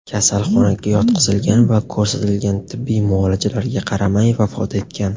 kasalxonaga yotqizilgan va ko‘rsatilgan tibbiy muolajalarga qaramay, vafot etgan.